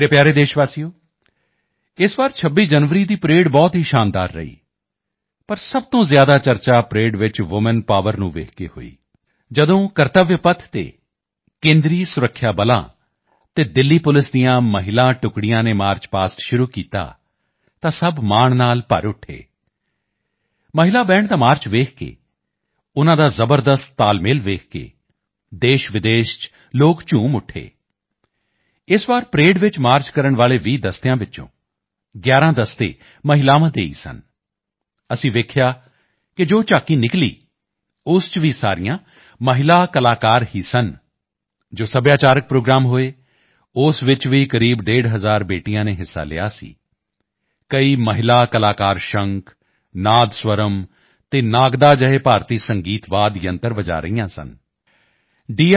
ਮੇਰੇ ਪਿਆਰੇ ਦੇਸ਼ਵਾਸੀਓ ਇਸ ਵਾਰ 26 ਜਨਵਰੀ ਦੀ ਪਰੇਡ ਬਹੁਤ ਹੀ ਸ਼ਾਨਦਾਰ ਰਹੀ ਪਰ ਸਭ ਤੋਂ ਜ਼ਿਆਦਾ ਚਰਚਾ ਪਰੇਡ ਵਿੱਚ ਵੂਮੈਨ ਪਾਵਰ ਨੂੰ ਦੇਖ ਕੇ ਹੋਈ ਜਦੋਂ ਕਰਤਵਯ ਪਥ ਤੇ ਕੇਂਦਰੀ ਸੁਰੱਖਿਆ ਬਲਾਂ ਅਤੇ ਦਿੱਲੀ ਪੁਲਿਸ ਦੀਆਂ ਮਹਿਲਾ ਟੁਕੜੀਆਂ ਨੇ ਮਾਰਚ ਪਾਸਟ ਸ਼ੁਰੂ ਕੀਤਾ ਤਾਂ ਸਭ ਮਾਣ ਨਾਲ ਭਰ ਉੱਠੇ ਮਹਿਲਾ ਬੈਂਡ ਦਾ ਮਾਰਚ ਦੇਖ ਕੇ ਉਨ੍ਹਾਂ ਦਾ ਜ਼ਬਰਦਸਤ ਤਾਲਮੇਲ ਦੇਖ ਕੇ ਦੇਸ਼ਵਿਦੇਸ਼ ਚ ਲੋਕ ਝੂਮ ਉੱਠੇ ਇਸ ਵਾਰ ਪਰੇਡ ਚ ਮਾਰਚ ਕਰਨ ਵਾਲੇ 20 ਦਸਤਿਆਂ ਵਿੱਚੋਂ 11 ਦਸਤੇ ਮਹਿਲਾਵਾਂ ਦੇ ਹੀ ਸਨ ਅਸੀਂ ਦੇਖਿਆ ਕਿ ਜੋ ਝਾਕੀ ਨਿਕਲੀ ਉਸ ਚ ਵੀ ਸਾਰੀਆਂ ਮਹਿਲਾ ਕਲਾਕਾਰ ਹੀ ਸਨ ਜੋ ਸੱਭਿਆਚਾਰਕ ਪ੍ਰੋਗਰਾਮ ਹੋਏ ਉਸ ਚ ਵੀ ਕਰੀਬ ਡੇਢ ਹਜ਼ਾਰ ਬੇਟੀਆਂ ਨੇ ਹਿੱਸਾ ਲਿਆ ਸੀ ਕਈ ਮਹਿਲਾ ਕਲਾਕਾਰ ਸ਼ੰਖ ਨਾਦ ਸਵਰਮ ਅਤੇ ਨਗਾੜਾ ਜਿਹੇ ਭਾਰਤੀ ਸੰਗੀਤ ਵਾਦ ਯੰਤਰ ਵਜਾ ਰਹੀਆਂ ਸਨ ਡੀ